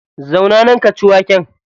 Zauna nan ka ci waken.